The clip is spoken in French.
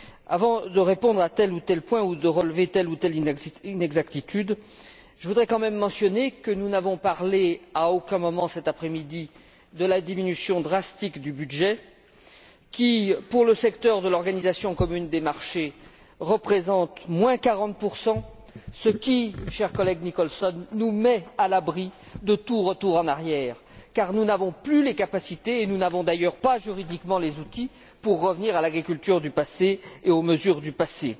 Avant de répondre à tel ou tel point ou de relever telle ou telle inexactitude, je voudrais tout de même mentionner que nous n'avons parlé à aucun moment, cet après midi, de la diminution drastique du budget, qui, pour le secteur de l'organisation commune des marchés, représente moins 40 ce qui, cher collègue Nicholson, nous met à l'abri de tout retour en arrière car nous n'avons plus les capacités et nous n'avons d'ailleurs pas, juridiquement, les outils permettant de revenir à l'agriculture du passé et aux mesures du passé.